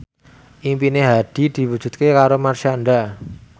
impine Hadi diwujudke karo Marshanda